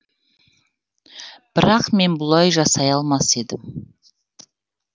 бірақ мен бұлай жасай алмас едім